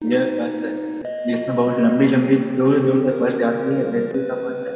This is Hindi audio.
यह बस है जिसमे बहुत लंबी-लंबी दुर-दुर तक बस जाती है ए.सी. का बस है।